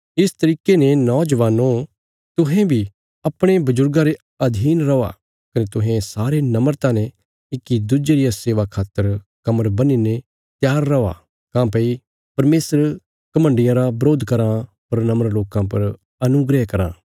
इस तरिके ने नौजबानो तुहें बी अपणे बजुर्गां रे अधीन रौआ कने तुहें सारे नम्रता ने इक्की दुज्जे रिया सेवा खातर कमर बन्हीने रा त्यार रौआ काँह्भई परमेशर घमण्डियां रा बरोध कराँ पर नम्र लोकां पर अनुग्रह कराँ